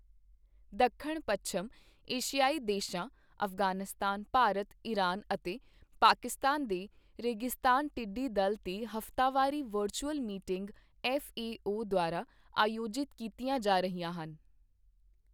ਦੱਖਣ ਪੱਛਮ ਏਸ਼ਿਆਈ ਦੇਸ਼ਾਂ ਅਫ਼ਗ਼ਾਨਨਿਸਤਾਨ, ਭਾਰਤ, ਇਰਾਨ ਅਤੇ ਪਾਕਿਸਤਾਨ ਦੇ ਰੇਗਿਸਤਾਨ ਟਿੱਡੀਦਲ ਤੇ ਹਫਤਾਵਾਰੀ ਵਰਚੁਅਲ ਮੀਟਿੰਗ ਐੱਫਏਓ ਦੁਆਰਾ ਆਯੋਜਿਤ ਕੀਤੀਆਂ ਜਾ ਰਹੀਆਂ ਹਨ।